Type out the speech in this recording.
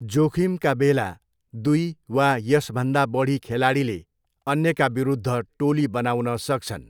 जोखिमका बेला दुई वा यसभन्दा बढी खेलाडीले अन्यका विरुद्ध टोली बनाउन सक्छन्।